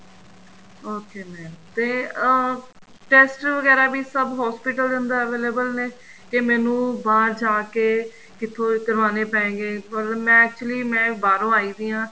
okay mam ਤੇ ਅਹ test ਵਗੈਰਾ ਵੀ ਸਭ hospital ਦੇ ਅੰਦਰ available ਨੇ ਕੇ ਮੈਨੂੰ ਬਾਹਰ ਜਾਂ ਕੇ ਕਿੱਥੋ ਇਹ ਕਰਵਾਣੇ ਪਏਗੇ ਪਰ ਮੈਂ actually ਬਾਹਰੋਂ ਆਈ ਪਈ ਆ